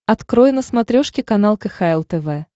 открой на смотрешке канал кхл тв